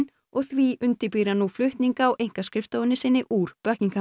og því undirbýr hann nú flutning á einkaskrifstofu sinni úr